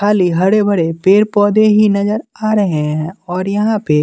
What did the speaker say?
खाली हरे भरे पेड़ पौधे ही नजर आ रहे हैं और यहाँ पे--